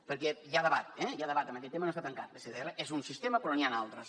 perquè hi ha debat eh en aquest tema no està tancat l’sddr és un sistema però n’hi han altres